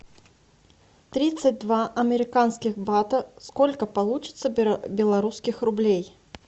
тридцать два американских бата сколько получится белорусских рублей